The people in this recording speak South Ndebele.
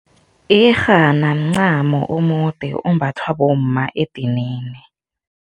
Iyerhana mncamo omude ombathwa bomma edinini.